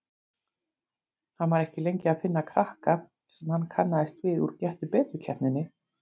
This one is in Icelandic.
Hann var ekki lengi að finna krakka sem hann kannaðist við úr Gettu betur-keppninni.